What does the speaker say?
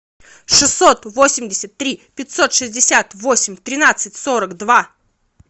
шестьсот восемьдесят три пятьсот шестьдесят восемь тринадцать сорок два